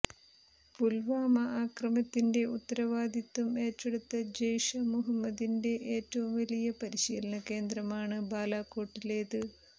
പുൽവാമ ആക്രമണത്തിന്റെ ഉത്തരവാദിത്വം ഏറ്റെടുത്ത ജെയ്ഷെ മുഹമ്മദിന്റെ ഏറ്റവും വലിയ പരിശീലനകേന്ദ്രമാണ് ബാലാകോട്ടിലേത്